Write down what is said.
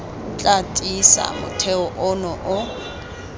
tla tiisa motheo ono o